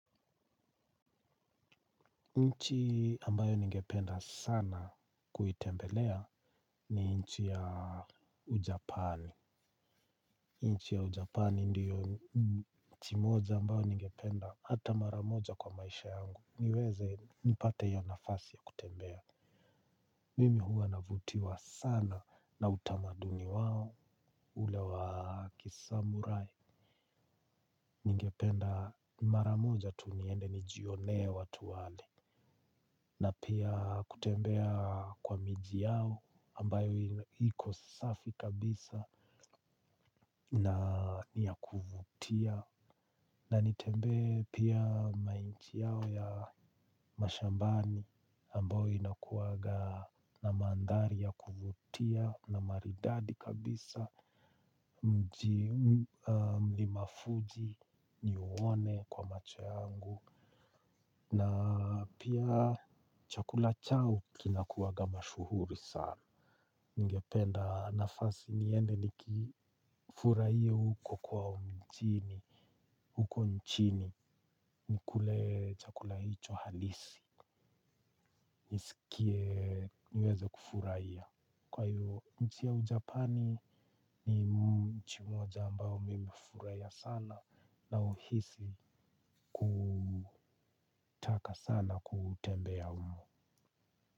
Nchi ambayo ningependa sana kuitembelea ni nchi ya ujapani. Nchi ya ujapani ndiyo nchi moja ambayo ningependa hata maramoja kwa maisha yangu. Niweze nipate hiyo nafasi ya kutembea. Mimi hua navutiwa sana na utamaduni wao ule wa kisamurai. Ningependa mara moja tu niende nijionee watu wale. Na pia kutembea kwa miji yao ambayo iko safi kabisa na ni ya kuvutia. Na nitembee pia ma nchi yao ya mashambani ambayo inakuwaga na mandhari ya kuvutia na maridadi kabisa. Mji mlima fuji niuone kwa macho yangu. Na pia chakula chao kinakuwa kama shuguli sana. Ningependa nafasi niende nikifurahia huko kwao mjini. Huko nchini ni kule chakula hicho halisi. Nisikie niweze kufurahia. Kwa hiyo nchi ya ujapani ni nchi moja ambao nimefurahia sana. Nauhisi kutaka sana kutembea humo.